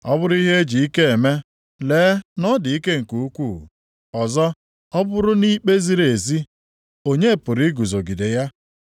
Ọ bụrụ ihe e ji ike eme, lee na ọ dị ike nke ukwuu! Ọzọ ọ bụrụ nʼikpe ziri ezi, onye pụrụ iguzogide ya.